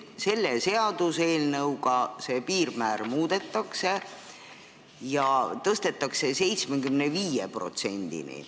Selle seaduseelnõuga seda piirmäära muudetakse ja see tõstetakse 75%-le.